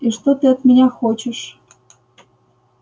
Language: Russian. и что ты от меня хочешь